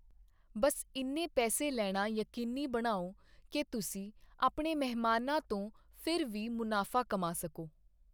ਬਸ ਇੰਨੇ ਪੈਸੇ ਲੈਣਾ ਯਕੀਨੀ ਬਣਾਓ ਕਿ ਤੁਸੀਂ ਆਪਣੇ ਮਹਿਮਾਨਾਂ ਤੋਂ ਫਿਰ ਵੀ ਮੁਨਾਫ਼ਾ ਕਮਾ ਸਕੋ।